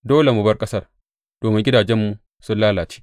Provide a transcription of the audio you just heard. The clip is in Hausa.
Dole mu bar ƙasar domin gidajenmu sun lalace.’